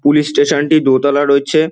Police station -টি দোতলা রয়েছে।